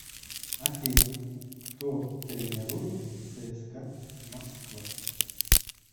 афина кто тренирует цска москва